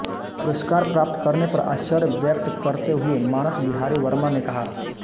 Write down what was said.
पुरस्कार प्राप्त करने पर आश्चर्य व्यक्त करते हुए मानस बिहारी वर्मा ने कहा